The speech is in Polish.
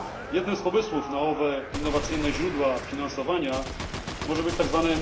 Jednym z pomysłów na owe innowacyjne źródła finansowania może być tzw.